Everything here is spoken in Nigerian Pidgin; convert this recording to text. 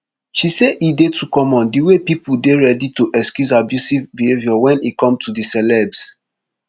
she say e dey too common di way pipo dey ready to excuse abusive behaviour wen e come to di celebs